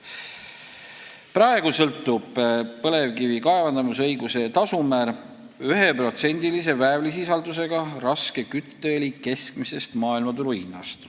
Praegu sõltub põlevkivi kaevandamisõiguse tasumäär 1%-lise väävlisisaldusega raske kütteõli keskmisest maailmaturu hinnast.